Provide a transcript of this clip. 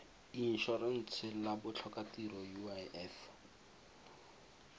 in orentshe la botlhokatiro uif